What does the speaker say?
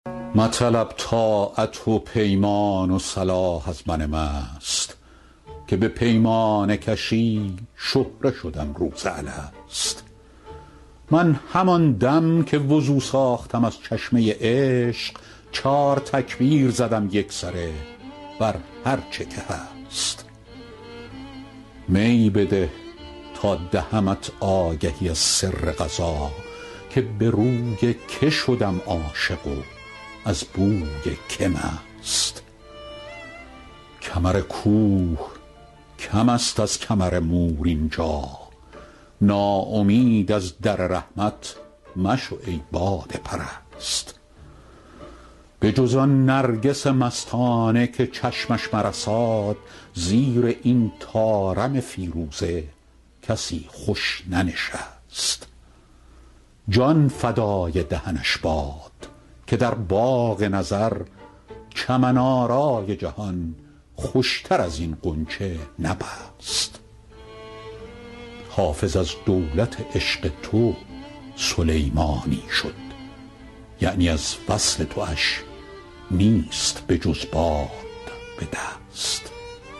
مطلب طاعت و پیمان و صلاح از من مست که به پیمانه کشی شهره شدم روز الست من همان دم که وضو ساختم از چشمه عشق چار تکبیر زدم یکسره بر هرچه که هست می بده تا دهمت آگهی از سر قضا که به روی که شدم عاشق و از بوی که مست کمر کوه کم است از کمر مور اینجا ناامید از در رحمت مشو ای باده پرست بجز آن نرگس مستانه که چشمش مرساد زیر این طارم فیروزه کسی خوش ننشست جان فدای دهنش باد که در باغ نظر چمن آرای جهان خوشتر از این غنچه نبست حافظ از دولت عشق تو سلیمانی شد یعنی از وصل تواش نیست بجز باد به دست